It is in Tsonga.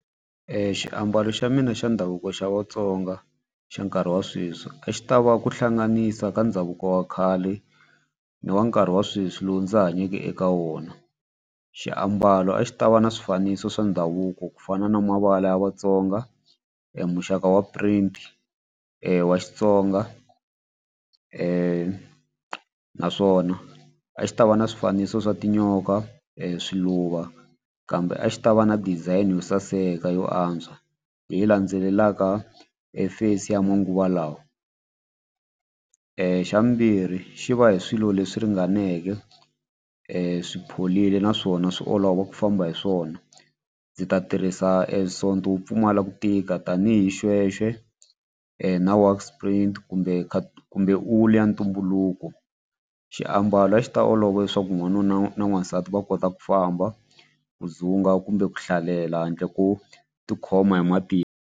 Xiambalo xa mina xa ndhavuko xa Vatsonga xa nkarhi wa sweswi a xi ta va ku hlanganisa ka ndhavuko wa khale ni wa nkarhi wa sweswi lowu ndzi hanyeke eka wona. Xiambalo a xi ta va ni swifaniso swa ndhavuko ku fana na mavala ya Vatsonga muxaka wa print wa Xitsonga naswona a xi ta va ni swifaniso swa tinyoka swiluva kambe a xi ta va na design yo saseka yo antswa leyi landzelelaka face ya manguva lawa. Xa vumbirhi xi va hi swilo leswi ringaneke swi pholini naswona swi olova ku famba hi swona ndzi ta tirhisa e sonto wu pfumala ku tika tanihi shweshwe na works print kumbe kumbe wulu ya ntumbuluko xiambalo a xi ta olova leswaku n'wanuna na n'wansati va kota ku famba ku dzumba kumbe ku hlalela handle ko tikhoma hi matimba.